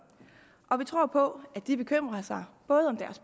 og vi tror på at de bekymrer sig både om